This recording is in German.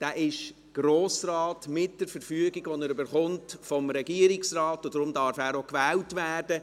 Er ist Grossrat mit der Verfügung, die er vom Regierungsrat erhält, und daher darf auch er gewählt werden.